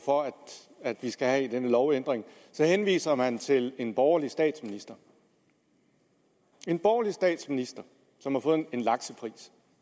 for at vi skal have den lovændring så henviser man til en borgerlig statsminister en borgerlig statsminister som har fået årets laks